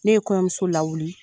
Ne ye kɔɲɔmuso lawuli